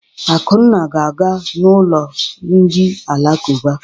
Akunna ga-aga n'ụlọ ndị alakụba.